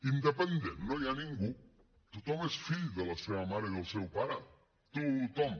independent no hi ha ningú tothom és fill de la seva mare i del seu pare tothom